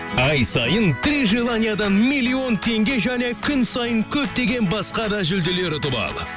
ай сайын три желаниядан миллион теңге және күн сайын көптеген басқа да жүлделер ұтып ал